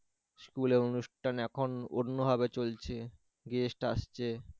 school এ অনুষ্ঠান এখন অন্য ভাবে চলছে guest আসছে